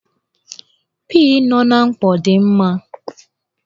Pii nọ n'mkpọ dị mma